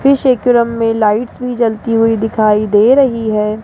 Fish aquarium में lights भी जलती हुई दिखाई दे रही है।